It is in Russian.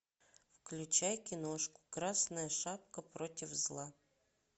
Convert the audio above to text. включай киношку красная шапка против зла